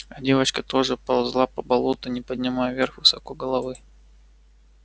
а девочка тоже ползла по болоту не поднимая вверх высоко головы